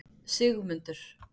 Sigmundur